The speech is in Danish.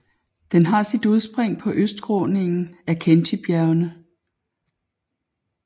Den har sit udspring på østskråningen af Khentijbjergene